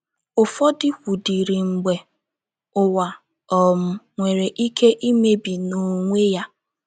Ụfọdụ kwudịrị mgbe ụwa um nwere ike imebi n’onwe ya.